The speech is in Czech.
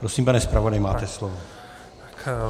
Prosím, pane zpravodaji, máte slovo.